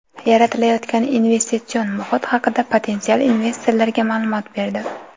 yaratilayotgan investitsion muhit haqida potensial investorlarga maʼlumot berdi.